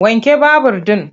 Wanke babur ɗin!